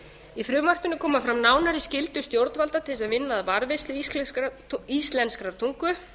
í frumvarpinu koma fram nánari skyldur stjórnvalda til að vinna að varðveislu íslenskrar tungu